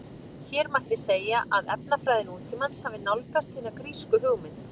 Hér mætti segja að efnafræði nútímans hafi nálgast hina grísku hugmynd.